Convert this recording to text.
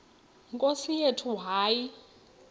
nkosi yethu hayi